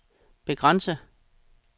begrænse